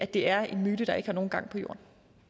det er en myte der ikke har nogen gang på jord